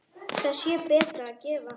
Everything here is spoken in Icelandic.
Þá sé betra að gefa.